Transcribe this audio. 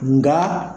Nka